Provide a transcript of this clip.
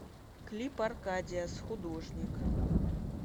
клип аркадиас художник